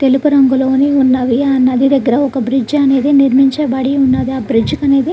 తెలుపు రంగులోనే ఉన్నవి. ఆ నది దగ్గర ఒక బ్రిడ్జి అనేది నిర్మించబడి ఉన్నది. ఆ బ్రిడ్జ్ అనేది--